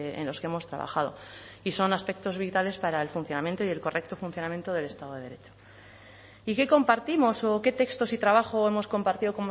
en los que hemos trabajado y son aspectos vitales para el funcionamiento y el correcto funcionamiento del estado de derecho y qué compartimos o qué textos y trabajo hemos compartido